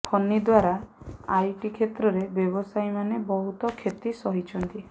ଫନି ଦ୍ବାରା ଆଇଟି କ୍ଷେତ୍ରର ବ୍ୟବସାୟୀମାନେ ବହୁତ କ୍ଷତି ସହିଛନ୍ତି